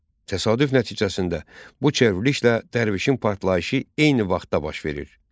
Təsadüf nəticəsində bu çevrilişlə dərvişin partlayışı eyni vaxtda baş verir.